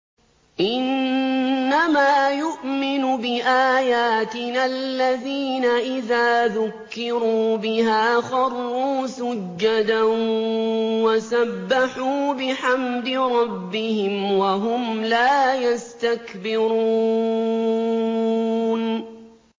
إِنَّمَا يُؤْمِنُ بِآيَاتِنَا الَّذِينَ إِذَا ذُكِّرُوا بِهَا خَرُّوا سُجَّدًا وَسَبَّحُوا بِحَمْدِ رَبِّهِمْ وَهُمْ لَا يَسْتَكْبِرُونَ ۩